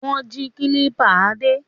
Wọ́n jí kílípà Adé?